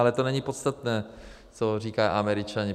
Ale to není podstatné, co říkají Američani.